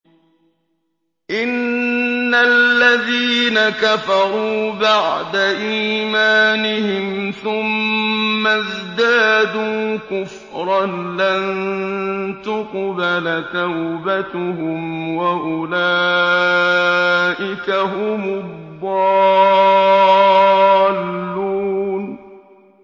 إِنَّ الَّذِينَ كَفَرُوا بَعْدَ إِيمَانِهِمْ ثُمَّ ازْدَادُوا كُفْرًا لَّن تُقْبَلَ تَوْبَتُهُمْ وَأُولَٰئِكَ هُمُ الضَّالُّونَ